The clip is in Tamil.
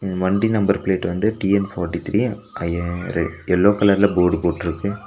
வண்டி நம்பர் பிளேட் வந்து டி_என் ஃபார்ட்டி த்ரி ஐயாரு எல்லோ கலர்ல போர்டு போட்ருக்கு.